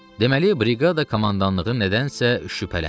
Deməli, briqada komandanlığı nədənsə şübhələnir.